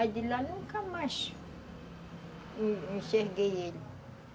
Aí de lá nunca mais enxerguei ele.